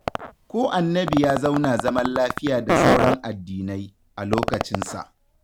Ko Annabi ya zauna zaman lafiya da sauran addinai, a lokacinsa